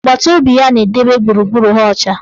Agbataobi ya na-edobe gburugburu ha ọcha.